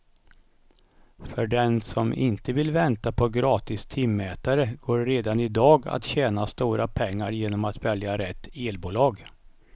För den som inte vill vänta på gratis timmätare går det redan i dag att tjäna stora pengar genom att välja rätt elbolag.